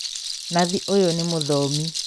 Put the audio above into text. Nathi ũyũ nĩ mũthomi